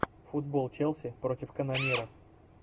футбол челси против канонира